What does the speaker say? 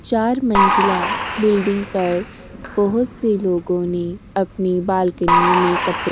चार मंजिला बिल्डिंग पर बोहोत लोगों ने अपनी बालकनियो में कपड़े --